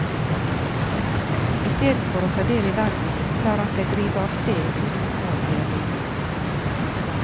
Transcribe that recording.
Istedenfor å ta del i verden, lar han seg drive av sted uten mål eller mening.